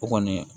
O kɔni